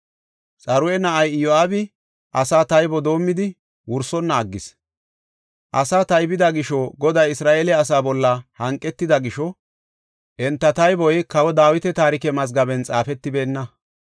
Xaruya na7ay Iyo7aabi asaa taybo doomidi wursonna aggis. Asaa taybida gisho Goday Isra7eele asaa bolla hanqetida gisho enta tayboy kawa Dawita taarike mazgaben xaafetibeenna.